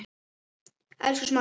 Elsku Smári minn.